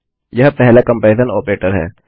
यह पहला comparison operator है